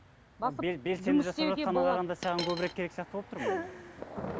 саған көбірек керек сияқты болып тұр ғой